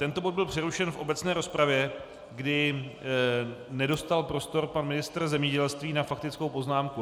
Tento bod byl přerušen v obecné rozpravě, kdy nedostal prostor pan ministr zemědělství na faktickou poznámku.